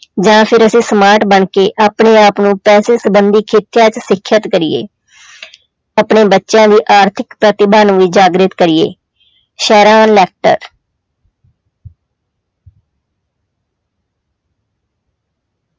ਜਾਂ ਫਿਰ ਅਸੀਂ smart ਬਣਕੇ ਆਪਣੇ ਆਪ ਨੂੰ ਪੈਸੇ ਸੰਬੰਧੀ ਤੇ ਸਿੱਖਿਅਤ ਕਰੀਏ ਆਪਣੇ ਬੱਚਿਆਂ ਦੀ ਆਰਥਿਕ ਪ੍ਰਤਿਭਾ ਨੂੰ ਵੀ ਜਾਗਰਿਤ ਕਰੀਏ